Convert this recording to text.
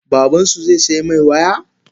Babansu zaisaimai waya?